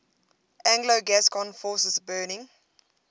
anglo gascon forces burning